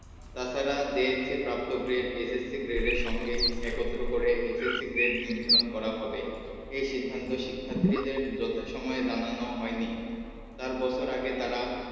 তাছাড়া JSC প্রাপ্ত gread SSC gread এর সঙ্গে একত্র করে SSC gread নির্ধারণ করা হবে সিদ্ধান্ত শিক্ষার্থীদের যথা সময়ে জানানো হয়নি। চার বছর আগে তারা